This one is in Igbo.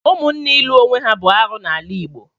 Ụmụnne ilụ onwe ha bụ arụ n'ala Igbo.